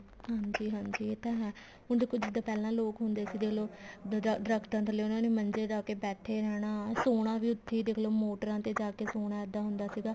ਹਾਂਜੀ ਹਾਂਜੀ ਇਹ ਤਾਂ ਹੈ ਹੁਣ ਦੇਖੋ ਜਿੱਦਾਂ ਪਹਿਲਾਂ ਲੋਕ ਹੁਣੇ ਸੀ ਦੇਖਲੋ ਦਰਖਤਾਂ ਥੱਲੇ ਉਹਨਾ ਨੇ ਮੰਜੇ ਡਾਹ ਕੇ ਬੈਠੇ ਰਹਿਣਾ ਸੋਣਾ ਵੀ ਉੱਥੀ ਦੇਖਲੋ ਮੋਟਰਾਂ ਤੇ ਜਾ ਕੇ ਸੋਣਾ ਦੇਖੋ ਇਦਾਂ ਹੁੰਦਾ ਸੀਗਾ